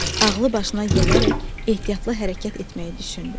Ağlı başına gələrək ehtiyatlı hərəkət etməyi düşündü.